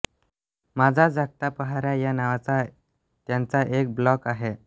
माझा जागता पहारा या नावाचा त्यांचा एक ब्लाॅग आहे